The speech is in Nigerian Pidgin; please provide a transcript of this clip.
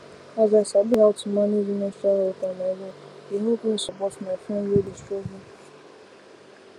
as i sabi how to manage menstrual health and hygiene e help me support my friend wey dey struggle